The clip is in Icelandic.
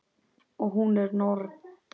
Og hún er norn.